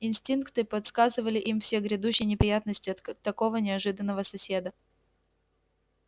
инстинкты подсказывали им все грядущие неприятности от такого неожиданного соседа